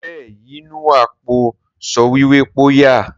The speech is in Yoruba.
Be e yinuwa po sọwhiwhe po ya?